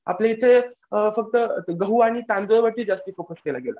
आपल्या हिते अ फक्त गहू आणि तांदूळ वरती जास्त फोकस केला गेला.